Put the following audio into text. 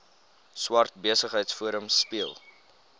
swart besigheidsforum speel